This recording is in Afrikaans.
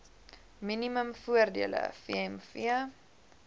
minimum voordele vmv